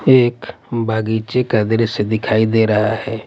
एक बगीचे का दृश्य दिखाई दे रहा है।